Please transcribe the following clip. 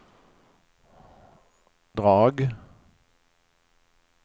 drag